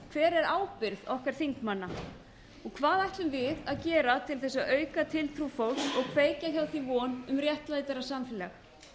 hver er ábyrgð okkar þingmanna hvað ætlum við að gera til þess að auka tiltrú fólks og kveikja hjá því von um réttlátara samfélag